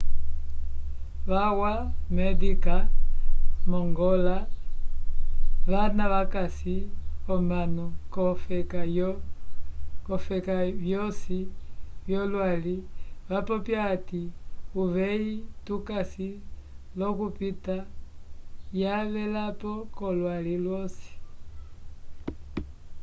vakwa médica mongola vana vakayisa omanu k'olofeka vyosi vyolwali vapopya hati uveyi tukasi l'okupita yavelapo k'olwali lwosi